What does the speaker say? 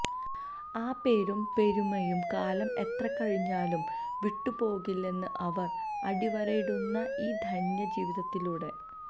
ആ പേരും പെരുമയും കാലം എത്ര കഴിഞ്ഞാലും വിട്ടുപോകില്ലെന്ന് അവർ അടിവരയിടുന്നു ഇൌ ധന്യ ജീവിതത്തിലൂടെ